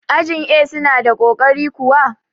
ajin A suna da ƙoƙari kuwa?